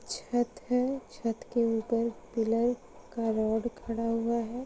छत है छत के ऊपर पिल्लर का रोड खड़ा हुआ है |